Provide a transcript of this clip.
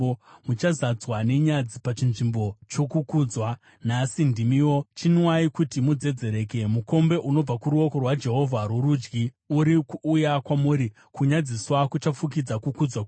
Muchazadzwa nenyadzi pachinzvimbo chokukudzwa. Nhasi ndimiwo! Chinwai kuti mudzedzereke! Mukombe unobva kuruoko rwaJehovha rworudyi uri kuuya kwamuri, kunyadziswa kuchafukidza kukudzwa kwenyu.